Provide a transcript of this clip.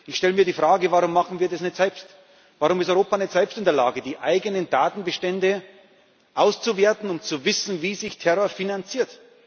Ich stelle mir die Frage Warum machen wir das nicht selbst? Warum ist Europa nicht selbst in der Lage, die eigenen Datenbestände auszuwerten und zu wissen, wie sich Terror finanziert?